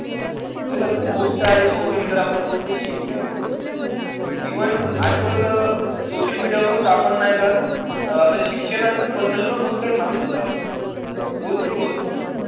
तैसेच बहोत सारे सोशल आपण बोलतो शिकू शकतो. इव्हन आजकल सोशल मीडिया वर आपण नाही का अह आपल्या शिक्षणबद्दल पॅन माहित होतात. बहोत सारी वस्तू आहे.